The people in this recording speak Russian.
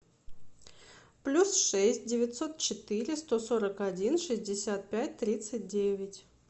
плюс шесть девятьсот четыре сто сорок один шестьдесят пять тридцать девять